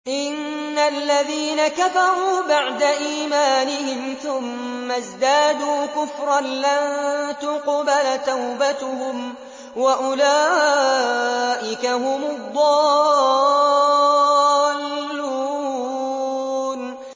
إِنَّ الَّذِينَ كَفَرُوا بَعْدَ إِيمَانِهِمْ ثُمَّ ازْدَادُوا كُفْرًا لَّن تُقْبَلَ تَوْبَتُهُمْ وَأُولَٰئِكَ هُمُ الضَّالُّونَ